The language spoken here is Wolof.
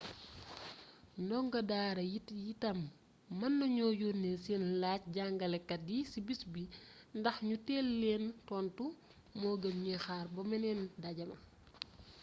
ndongo daara yi itam mën nañu yónnee seeni laaj jàngalekat yi ci bis bi ndax ñu teel leen tontu moo gën ñuy xaar ba meneen ndaje ma